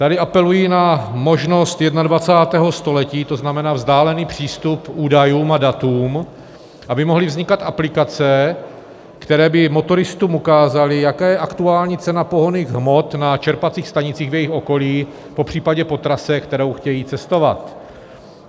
Tady apeluji na možnost 21. století, to znamená vzdálený přístup k údajům a datům, aby mohly vznikat aplikace, které by motoristům ukázaly, jaká je aktuální cena pohonných hmot na čerpacích stanicích v jejich okolí, popřípadě po trase, kterou chtějí cestovat.